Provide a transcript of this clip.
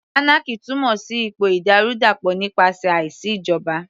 Anarchy túmọ̀ sí ipò ìdàrúdàpọ̀ nípasẹ̀ àìsí ìjọba